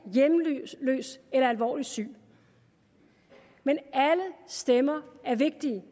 hjemløs eller alvorligt syg men alle stemmer er vigtige